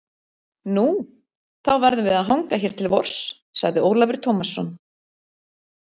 Nú, þá verðum við að hanga hér til vors, sagði Ólafur Tómasson.